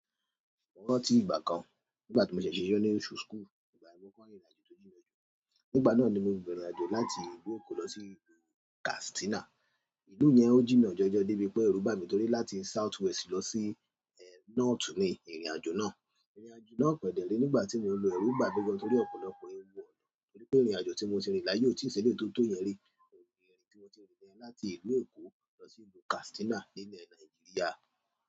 Mo rántí ìgbà kan nígbà tí mo ṣẹ̀ ṣe iṣẹ́ ní nursery school, ihna yen ni mo koko rinrìnàjò tó jìnà jù, nígbà náà ni mo rin ìrìnàjò láti ìlú Èkó lọ sí ìlú Katsina. Ìlú yen o jina jojo, debi pe eru bami, toripe láti southwest lo si north ni irin ajo náà. Ìrìnàjò náà kedé re nígbà tí mo n lo èrù n bà gán torí ọ̀pọ̀lọpọ̀ èwù e, torí pé ìrìnàjò tí mo ti rìn láàyè ò tí ì si eleyi to tó yẹn rí. Láti ìlú Èkó lọ sí ìlú Katsina nílú Nàìjíríà.